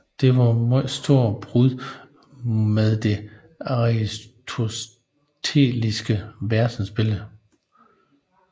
Det var et meget stort brud med det aristoteliske verdensbillede